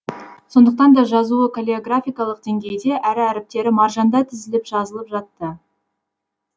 сондықтан да жазуы каллиграфиялық деңгейде әрі әріптері маржандай тізіліп жазылып жатты